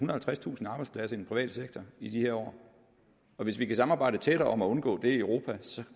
og halvtredstusind arbejdspladser i den private sektor i de år hvis vi kan samarbejde tættere om at undgå det i europa